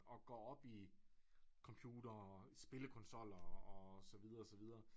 Og går op i computere spillekonsoller og så videre og så videre